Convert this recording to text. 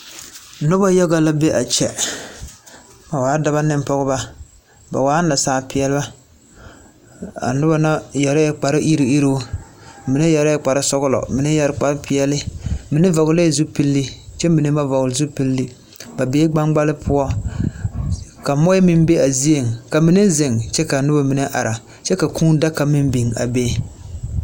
Noba yaga la be a kyɛ. Ba waa daba neŋ pɔgeba ba waa nasaalpeɛle. A noba na yɛrɛɛ kparre iru iruu; mine yɛrɛɛ kpar zɔgelɔ mine yɛre kpar peɛne mine vɔgelee zupilii kyɛ mine ba vɔgele zupili. Ba bee gbaŋkpale poɔ ka moɔ meŋ be a zieŋ Ka mine zeŋ kyɛ ka noba mine ara. Kyɛ ka kūū daka meŋ biŋ a be.